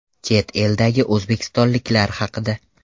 Chet eldagi o‘zbekistonliklar haqida.